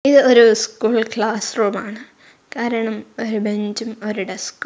ഇത് ഒരു school class റൂമാണ് കാരണം ഒരു ബെഞ്ചും ഒരു ഡെസ്കും --